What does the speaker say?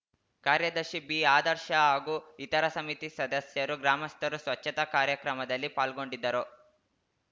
ಕಾರ್ಯದರ್ಶಿ ಬಿಆದರ್ಶ ಹಾಗೂ ಇತರ ಸಮಿತಿ ಸದಸ್ಯರು ಗ್ರಾಮಸ್ಥರು ಸ್ವಚ್ಛತಾ ಕಾರ್ಯಕ್ರಮದಲ್ಲಿ ಪಾಲ್ಗೊಂಡಿದ್ದರು